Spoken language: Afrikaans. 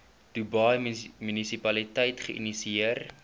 dubai munisipaliteit geïnisieer